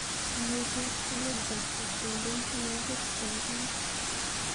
Imuchi Alexa kotrompen tyenwogik cheachame.